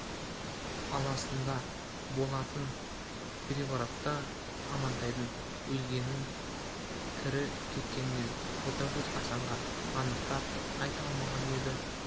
аласында болатын переворотта амантайдың өлгенін тірі кеткенін ботагөз асанға анықтап айта алмаған еді